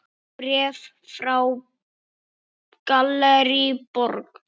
Bréf frá Gallerí Borg.